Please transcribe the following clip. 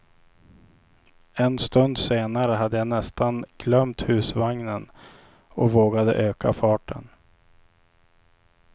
En stund senare hade jag nästan glömt husvagnen och vågade öka farten.